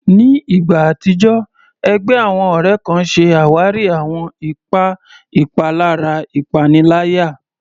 Ní ìgbà àtijọ́, ẹgbẹ́ àwọn ọ̀rẹ́ kan ṣe àwárí àwọn ipa ìpalára ìpaniláyà.